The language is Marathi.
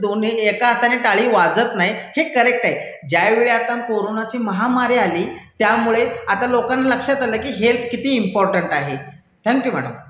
दोन्ही, एका हातानी टाळी वाजत नाही, हे करेक्ट आहे. ज्यावेळी कोरोनाची महामारी आली त्यामुळे आता लोकांना लक्षात आलं की हेल्थ किती इंपॉर्टन्ट आहे. Thank you madam.